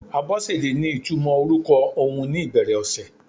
Abosede ní ìtumò orúkọ ohun ni ìbẹ̀rẹ̀ ọ̀sẹ̀.